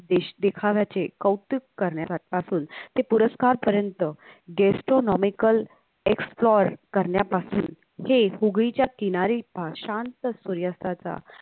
देश देखाव्याचे कौतुक करण्यापासून ते पुरस्कारपर्यंत GESTONOMICAL EXPERT करण्यापासून हे हुगळीच्या किनारी शांत सूर्यास्ताचा